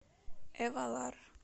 эвалар